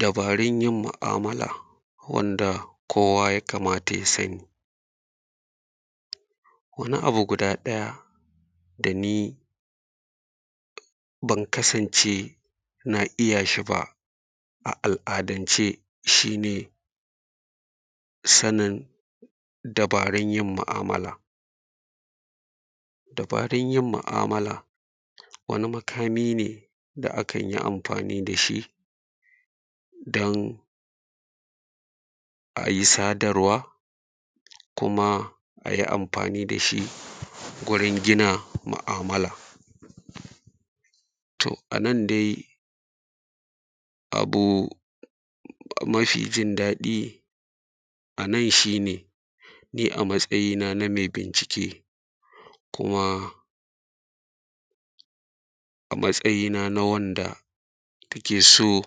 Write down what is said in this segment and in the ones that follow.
Dabarin yin mu’amala wanda kowa ya kamata ya sani wani abu guda ɗaya da ni ban kasance na iya shi ba a al’adance shi ne, sanin dabarin yin ma’amala. Dabarin yin ma’amala wani makami ne da a kan yi anfani da shi dan a yi sadarwa kuma a yi anfani da shi gurin gina ma’amala. To, a nan dai abu mafi jin daɗi a nan shi ne, ni a matsayina na me bincike kuma a matsayina na wanda take so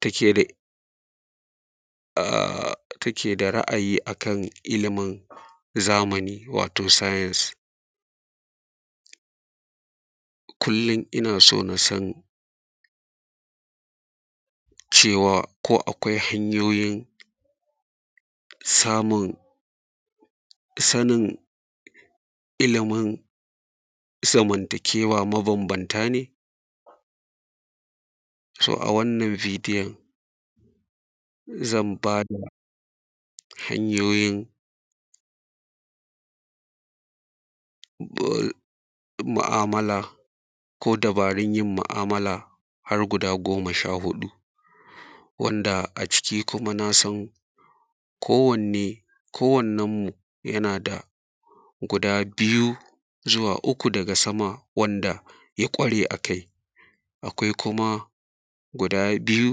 take da a: take da ra’ayi a kan ilimin zamani wato “Science” kullin ina so na san cewa ko akwai hanyoyin samun sanin ilimin zamantakewa mabambanta ne, “so” a wannan bidiyan zan ba da hanyoyin mu’amala ko dabarin yin ma’amala har guda goma sha huɗu wanda a ciki kuma na san kowanne kowannenmu yana da guda biyu zuwa uku daga sama wanda ya ƙware a kai akwai kuma guda biyu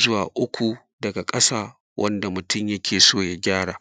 zuwa uku daga ƙasa wanda mutum yake so ya gyara.